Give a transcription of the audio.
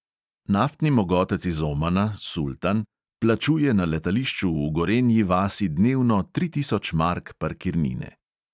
Naftni mogotec iz omana, sultan, plačuje na letališču v gorenji vasi dnevno tri tisoč mark parkirnine.